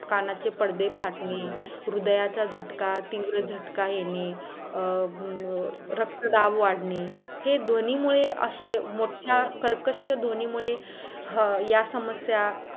कानाचे पडदे फाटणे, हृदयाचा झटका तिव्र झटका येणे अं रक्त दाब वाढणे हे ध्वनी मुळे असे मोठ्या कर्कश्य ध्वनी मुळे हा या समस्या